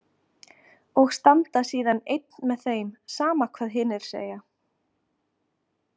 Og standa síðan einn með þeim, sama hvað hinir segja.